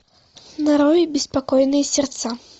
нарой беспокойные сердца